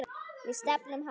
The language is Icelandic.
Við stefnum hátt.